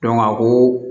a ko